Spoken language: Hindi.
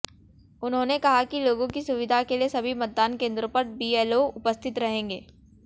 उन्होंने कहा कि लोगों की सुविधा के लिए सभी मतदान केंद्रों पर बीएलओ उपस्थित रहेंगे